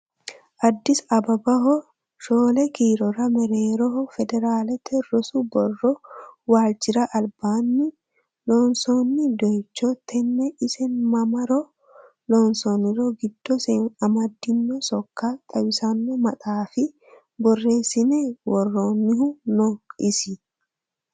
Addis Abbebaho shoole kiilora mereeroho federalete rosu borro walchira albaani loonsonni doyicho tene isi mamaro loonsonni giddose amadino sokko xawisano maxaafi borreesine woronihu no isi ?